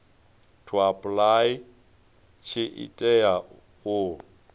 to apply tshi tea u